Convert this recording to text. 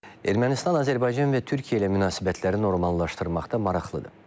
Ermənistan Azərbaycan və Türkiyə ilə münasibətləri normallaşdırmaqda maraqlıdır.